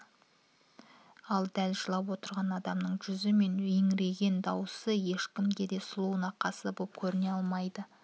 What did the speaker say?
ал дәл жылап отырған адамның жүзі мен еңірен дауысы ешкімге де сұлу нақысты боп көріне алмайды